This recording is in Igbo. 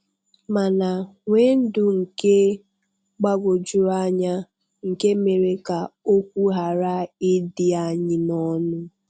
mana nwee ndụ nke gbagwojuru anya nke mere ka okwu ghara ịdị anyị n'ọnụ.